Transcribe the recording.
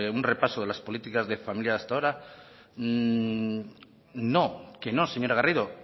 un repaso de las políticas de familia hasta ahora no que no señora garrido